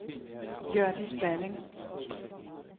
Hjørdis Balling